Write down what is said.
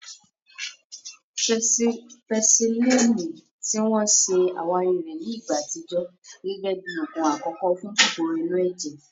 Pẹsilínìì, ti wọ́n ṣe àwárí rẹ̀ ní ìgbà àtijọ́, gẹ́gẹ́ bí oògùn àkọ́kọ́ fún kòkòrò inú ẹ̀jẹ̀